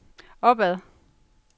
opad